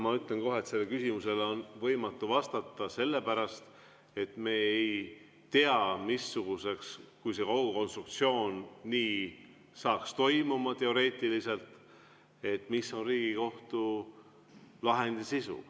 Ma ütlen kohe, et sellele küsimusele on võimatu vastata, sellepärast et me ei tea, missugune, kui kogu see konstruktsioon saaks niimoodi toimuma teoreetiliselt, on Riigikohtu lahendi sisu.